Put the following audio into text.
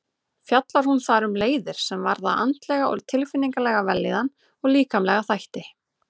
Fjallar hún þar um leiðir sem varða andlega og tilfinningalega vellíðan og líkamlega þætti.